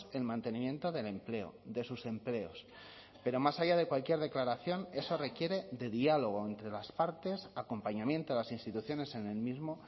el mantenimiento del empleo de sus empleos pero más allá de cualquier declaración eso requiere de diálogo entre las partes acompañamiento a las instituciones en el mismo